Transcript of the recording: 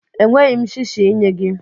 Enweghị m shishi inye gị.